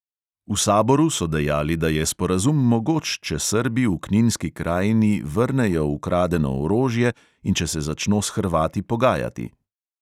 V saboru so dejali, da je sporazum mogoč, če srbi v kninski krajini vrnejo ukradeno orožje in če se začno s hrvati pogajati.